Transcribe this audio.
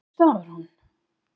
Af hverju stafar hún?